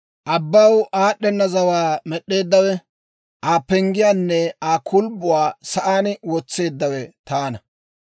Abbaw aad'd'ena zawaa med'd'eeddawe, Aa penggiyaanne Aa kulbbuwaa sa'aan wotseeddawe taana.